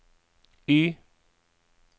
Y